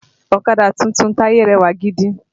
Ọ̀kadà tuntun Taye rẹwà gidi